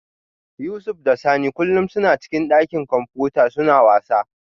Yusuf da Sani kullum suna cikin dakin kwamfuta suna wasa